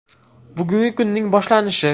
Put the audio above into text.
Bugungi kunning boshlanishi.